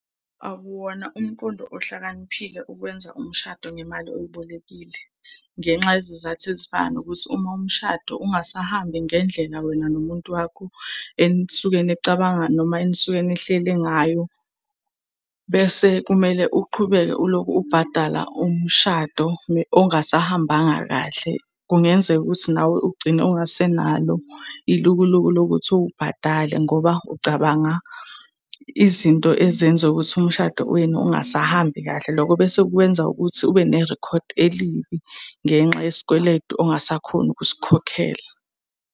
Akuwona umqondo ohlakaniphile ukwenza umshado ngemali oyibolekile ngenxa yezizathu ezifana nokuthi uma umshado ungasahambi ngendlela wena nomuntu wakho enisuke nicabanga, noma enisuke nihlele ngayo bese kumele uqhubeke uloku ubhadala umshado ongasahambanga kahle. Kungenzeka ukuthi nawe ugcine ungasenalo ilukuluku lokuthi uwubhadale ngoba ucabanga izinto ezenza ukuthi umshado wenu ungasahambi kahle. Loko bese kwenza ukuthi ube nerikhodi elibi ngenxa yesikweletu ongasakhoni ukusikhokhela.